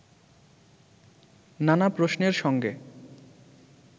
নানা প্রশ্নের সঙ্গে